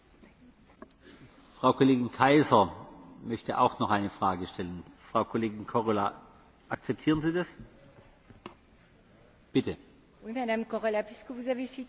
Madame Korhola, puisque vous avez cité les sources, avez vous eu l'occasion de lire l'avis de novembre 2013, qui est très récent, de la Chambre des représentants de Nouvelle Zélande,